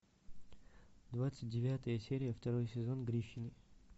двадцать девятая серия второй сезон гриффины